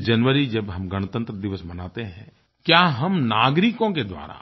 26 जनवरी जब हम गणतंत्र दिवस मनाते हैं क्या हम नागरिकों के द्वारा